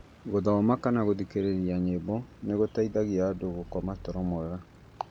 gũthoma kana gũthikĩrĩria nyĩmbo nĩ gũteithagia mũndũ gũkoma toro mwega.